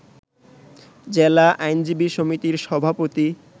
জেলা আইনজীবী সমিতির সভাপতি